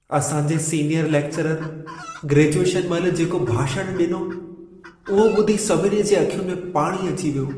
असां जे senior lecturer graduation महिल जेको भाषण ॾिनो, उहो ॿुधी सभिनी जे अखियुनि में पाणी अची वियो।